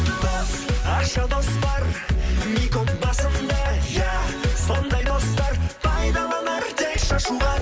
дос ащы дос бар басымды иә сондай достар пайдаланар тек шашуға